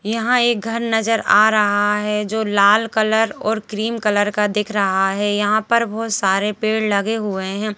यहां एक घर नजर आ रहा है जो लाल कलर और क्रीम कलर का दिख रहा है यहां पर बहोत सारे पेड़ लगे हुए हैं।